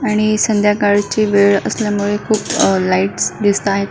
आणि संध्याकाळची वेळ असल्यामुळे खुप अ लाइटस दिसता आहे.